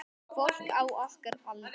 Fólk á okkar aldri.